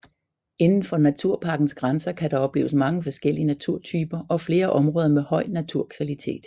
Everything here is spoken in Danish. Inden for naturparkens grænser kan der opleves mange forskellige naturtyper og flere områder med høj naturkvalitet